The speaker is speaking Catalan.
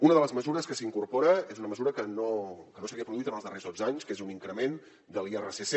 una de les mesures que s’incorpora és una mesura que no s’havia produït en els darrers dotze anys que és un increment de l’irsc